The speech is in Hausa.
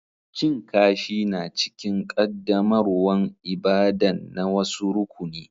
Cin kashi na cikin qaddamarwan ibada'n na wasu rukuni.